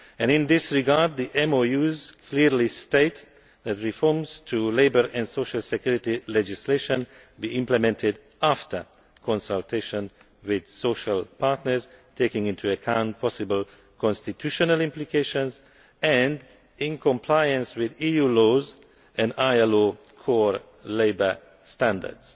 In this regard, the MoUs clearly state that reforms to labour and social security legislation should be implemented after consultation with social partners, taking into account possible constitutional implications and non compliance with EU laws and ILO core labour standards.